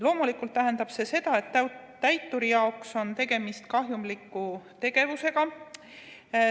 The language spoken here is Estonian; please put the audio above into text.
Loomulikult tähendab see seda, et täituri jaoks on tegemist kahjumliku tegevusega.